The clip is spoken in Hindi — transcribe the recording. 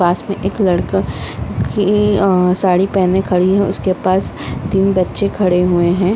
पास में एक लड़का की अ साड़ी पहने खड़ी है उसके पास में तीन बच्चे खड़े हुए हैं |